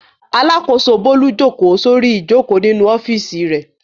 Alákòóso Bólú jókòó sórí ìjókòó nínú ọ́fíísì rẹ̀.